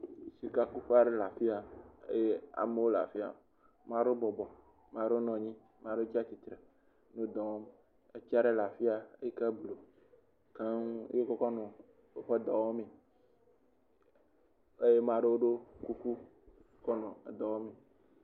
Sikakuƒe aɖe le afia eye amewo le afia. Ma ɖewo bɔbɔ, ma ɖewo nɔ nyi ma ɖewo tsa tsitre. Wo dɔ wɔm. Etsi aɖe le afia eyi ke blu keŋ ye wokɔ kɔnɔ woƒe dɔ wɔmee. Eye ama ɖewo ɖɔ kuku kɔnɔ edɔ wɔmee.